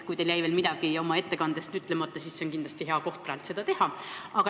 Kui teil jäi veel midagi oma ettekandest ütlemata, siis see on praegu kindlasti hea koht seda teha.